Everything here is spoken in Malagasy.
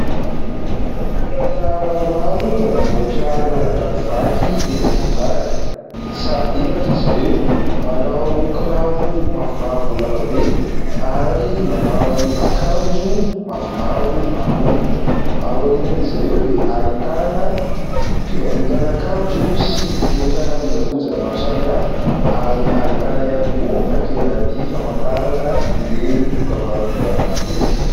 Mpiasa maromaro manamboatra lalan-drano vaky eny amoron-dalana. Miisa efatra izy ireo, manao kiraro mavomavo lava be ary manao akanjo mavomavo amboniny. Ao aorianan'izy ireo dia ahitana fivarotana akanjo sy entana kojakoja maro samy hafa ary ahitana ihany koa takela-by famantarana ireny dokam-barotra ireny.